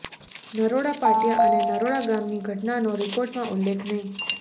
નરોડા પાટિયા અને નરોડા ગામની ઘટનાનો રિપોર્ટમાં ઉલ્લેખ નહીં